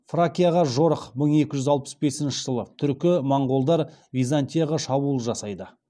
фракияға жорық мың екі жүз алпыс бесінші жылы түркі моңғолдар византияға шабуыл жасайды